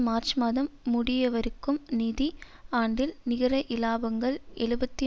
March மாதம் முடியவருக்கும் நிதி ஆண்டில் நிகர இலாபங்கள் எழுபத்தி